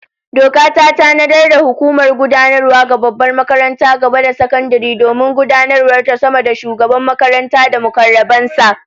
Doka ta tanadar da hukumar gudanarwa ga babbar makarantar gaba da sakandare domin gudanarwavta sama da Shugaban makaranta da mukarraban sa